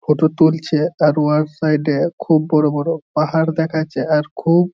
photo তুলছে-এ তার উয়ার সাইড এ খুব বড়ো বড়ো পাহাড় দেখাচ্ছে আর খুব--